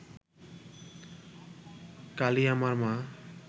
কালী আমার মা